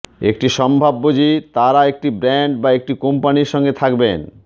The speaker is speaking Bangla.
একটি সম্ভাব্য যে তারা একটি ব্র্যান্ড বা একটি কোম্পানির সঙ্গে থাকবেন